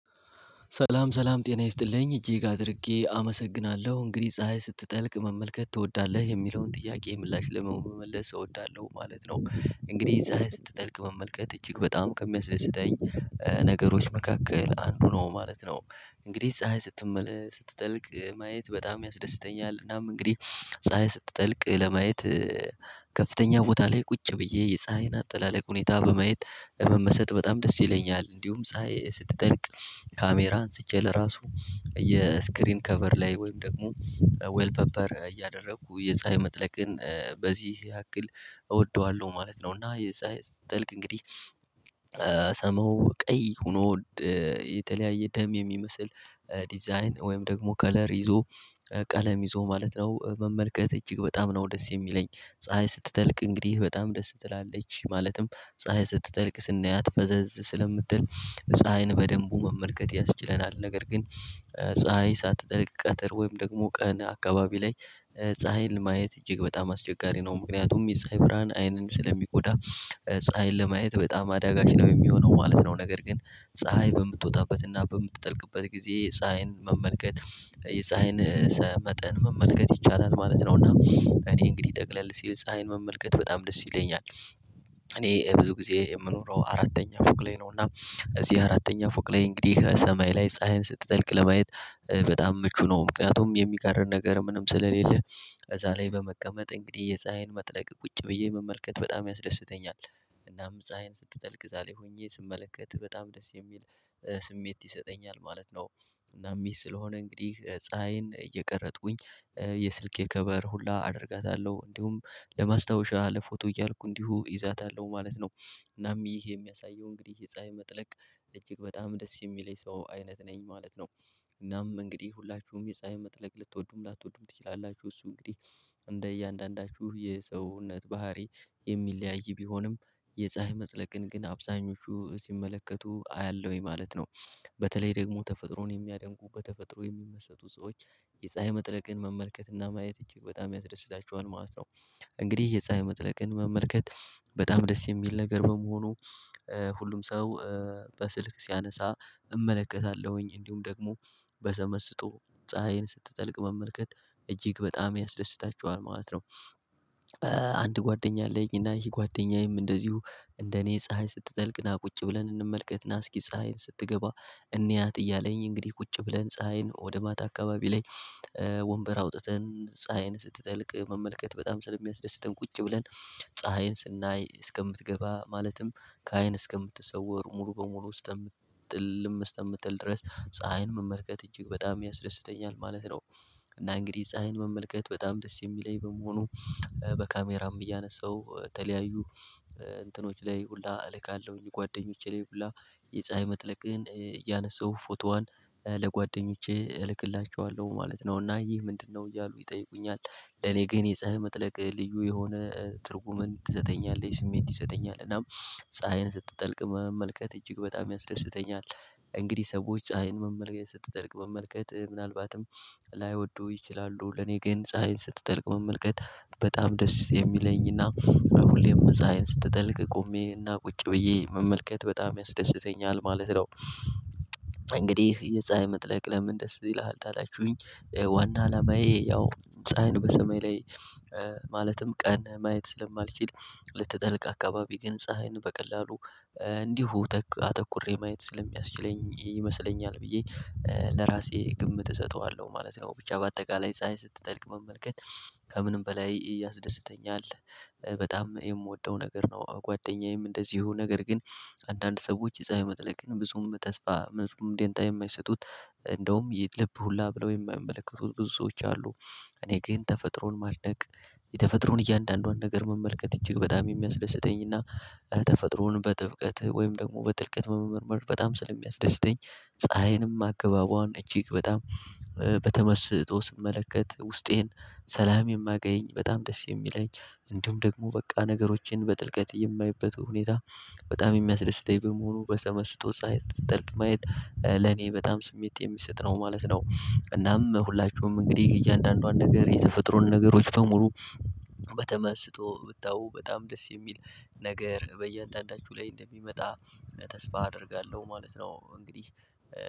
ሰላም ሰላም ጤና ይስጥልኝ እጅግ አድርጌ አመሰግናለሁ እንግዲህ ፀሀይ ስትጠልቅ መመልከት ትወዳለህ የሚለውን ጥያቄ ምላሽ ለመመለስ እወዳለሁ ማለት ነው። እንግዲህ ፀሀይ ስትጠልቅ መመልከት እጅግ በጣም ከሚያስደስተኝ ነገሮች መካከል አንዱ ነው ማለት ነው። እንግዲህ ፀሀይ ስትጠልቅ ማየት በጣም ያስደስተኛል። እናም እንግዲህ ፀሀይ ስትጠልቅ ለማየት ከፍተኛ ቦታ ላይ ቁጭ ብዬ የፀሀይን አጠላለቅ ሁኔታ በማየት መመሰጥ በጣም ደስ ይለኛል። እንዲሁም ፀሀይ ስትጠልቅ ካሜራን አንስቼ ለራሱ የስክሪን ከቨር ላይ ወይም ደግሞ ዌል ፔፐር እያደረኩ የፀሀይ መጥለቅን በዚህ ያክል እወደዋለሁ ማለት ነው። እና የፀሀይ ስጠልቅ እንግዲህ ሰማዩ ቀይ ሆኖ የተለያየ ደም የሚመስል ዲዛይን ወይም ደግሞ ከለር ይዞ ቀለም ይዞ ማለት ነው መመልከት እጅግ በጣም ነው ደስ የሚለኝ። ፀሀይ ስትጠልቅ እንግዲህ በጣም ደስ ትላለች ማለትም ፀሀይ ስትጠልቅ ስናያት ፈዘዝ ስለምትል ፀሀይን በደንቡ መመልከት ያስችለናል። ነገር ግን ፀሀይ ሳትጠልቅ ቀትር ወይም ደግሞ ቀን አካባቢ ላይ ፀሀይን ለማየት እጅግ በጣም አስቸጋሪ ነው። ምክንያቱም የፀሀይ ብርሃን አይንን ስለሚጎዳ ፀሀይን ለማየት በጣም አዳጋች ነው የሚሆነው ማለት ነው። ነገር ግን ፀሀይ በምትወጣበትና በምትጠልቅበት ጊዜ ፀሀይን መመልከት የፀሀይን መጠን መመልከት ይቻላል ማለት ነው። እና እኔ እንግዲህ ጠቅላል ሲሌ ፀሀይን መመልከት በጣም ደስ ይለኛል። እኔ ብዙ ጊዜ የምኖረው አራተኛ ፎቅ ላይ ነው። እና እዚህ አራተኛ ፎቅ ላይ እንግዲህ ከሰማይ ላይ ፀሀይን ስትጠልቅ ለማየት በጣም ምቹ ነው ምክንያቱም የሚጋርደን ነገር ምንም ስለሌለ ከዛ ላይ በመቀመጥ እንግዲህ የፀሀይን መጥለቅ ቁጭ ብዬ መመልከት በጣም ያስደስተኛል። እናም ፀሀይን ስትጠልቅ እዛላይ ሆኜ ስመለከት በጣም ደስ የሚል ስሜት ይሰጠኛል ማለት ነው። እናም ይሄ ስለሆነ እንግዲህ ፀሀይን እየቀረጥኩኝ የስልኬ ክበር ሁላ አደርጋታለሁ እንዲሁም ለማስታወሻ ለፎቶ እያልኩ እንዲሁ እይዛታለሁ ማለት ነው። እናም ይህ የሚያሳየው እንግዲህ የፀሀይ መጥለቅ እጅግ በጣም ደስ የሚለኝ ሰው አይነት ነኝ ማለት ነው። እናም እንግዲህ ሁላችሁም የፀሀይ መጥለቅ ልትወዱም ላትወዱም ትችላላችሁ። እሱ እንግዲህ እንደ እያንዳንዳችሁ የሰውነት ባህሪ የሚለያይ ቢሆንም የፀሀይ መጥለቅን ግን አብዛኞቹ ሲመለከቱ አያለሁኝ ማለት ነው። በተለይ ደግሞ ተፈጥሮን የሚያደንቁ በተፈጥሮ የሚመሰጡ ሰዎች የፀሀይ መጥለቅን መመልከትና ማየት እንጂ በጣም ያስደስታቸዋል ማለት ነው። እንግዲህ የፀሀይ መጥለቅን መመልከት በጣም ደስ የሚል ነገር በመሆኑ ሁሉም ሰው በስልክ ሲያነሳ እመለከታለሁኝ እንዲሁም ደግሞ በተመስጦ ፀሀይን ስትጠልቅ መመልከት እጅግ በጣም ያስደስታቸዋል ማለት ነው። አንድ ጓደኛ አለኝ እና ይሄ ጓደኛዬም እንደዚሁ እንደኔ ፀሀይ ስትጠልቅና ቁጭ ብለን እንመልከትና እስኪ ፀሀይን ስትገባ እንያት እያለኝ እንግዲህ ቁጭ ብለን ፀሀይን ወደ ማታ አካባቢ ላይ ወንበር አውጥተን ፀሀይን ስትጠልቅ መመልከት በጣም ስለሚያስደስትን ቁጭ ብለን ፀሀይን ስናይ እስከምትገባ ማለትም ከአይን እስከምትሰወር ሙሉ በሙሉ ውስጥ ጥልም እስከምትል ድረስ ፀሀይን መመልከት እጅግ በጣም ያስደስተኛል ማለት ነው። እና እንግዲህ ፀሀይን መመልከት በጣም ደስ የሚለኝ በመሆኑ በካሜራም እያነሳሁ ተለያዩ እንትኖች ላይ ሁላ እልካለሁኝ ጓደኞቼ ላይ ሁላ የፀሀይ መጥለቅን እያነሳሁ ፎቶዋን ለጓደኞቼ እልክላችኋለሁ ማለት ነው። እና ይህ ምንድነው እያሉ ይጠይቁኛል? ለኔ ግን የጸሀዬ መጥለቅ ልዩ የሆነ ትርጉምን ትሰጠኛለይ ስሜት ትስጠኛለይ እና ፀሀይን ስትጠልቅ መመልከት እጅግ በጣም ያስደስተኛል። እንግዲህ ሰዎች ፀሀይን መመልከት ስትጠልቅ መመልከት ምናልባትም ላይወዱ ይችላሉ ለኔ ግን ፀሀይን ስትጠልቅ መመልከት በጣም ደስ የሚለኝ እና ሁሌም መጻሀይ ስትጠልቅ ቆሜና ቁጭ ብዬ መመልከት በጣም ያስደስተኛል ማለት ነው። እንግዲህ የፀሀይ መጥለቅ ለምን? ደስ ይልሃል ታላችሁኝ ዋና አላማዬ ያው ፀሀይን በሰማይ ላይ ማለትም ቀን ማየት ስለማልችል ልትጠልቅ አካባቢ ግን ፀሀይን በቀላሉ እንዲሁ አተኩሬ ማየት ስለሚያስችለኝ ይመስለኛል ብዬ ለራሴ ግምት እሰጠዋለሁ ማለት ነው። ብቻ በአጠቃላይ ፀሀይ ስትጠልቅ መመልከት ከምንም በላይ ያስደስተኛል። በጣም የምወደው ነገር ነው። ጓደኛዬም እንደዚህ የሆነ ነገር ግን አንዳንድ ሰዎች የፀሀይ መጥለቅን ብዙም ተስፋ ምንድነው የማይሰጡት እንደውም ልብ ሁላ ብለው የማይመለከቱት ብዙ ሰዎች አሉ። እኔ ግን ተፈጥሮን ማለቅ የተፈጥሮን እያንዳንዷን ነገር መመልከት እጅግ በጣም የሚያስደስተኝ እና ተፈጥሮን በጥብቀት ወይም ደግሞ በጥልቀት መመርመር በጣም ስለሚያስደስተኝ ፀሀይንም አግባቡዎን እጅግ በጣም በተመስጦ ስመለከት ውስጤን ሰላም የማገኝ በጣም ደስ የሚለኝ እንዲሁም ደግሞ በቃ ነገሮችን በጥልቀት የማይበቱ ሁኔታ በጣም የሚያስደስተኝ በመሆኑ በተመስጦ ፀሀይ ስትጠልቅ ማየት ለኔ በጣም ስሜት የሚሰጥ ነው ማለት ነው። እናም ሁላችሁም እንግዲህ እያንዳንዷን ነገር የተፈጥሮን ነገሮች በሙሉ በተመስጦ ብታው በጣም ደስ የሚል ነገር በየአንዳንዳችሁ ላይ እንደሚመጣ ተስፋ አደርጋለሁ ማለት ነው። እንግዲህ